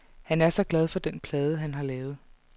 Han er så glad for den plade, han har lavet.